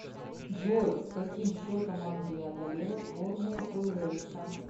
джой с каким счетом англия одолела сборную уэльса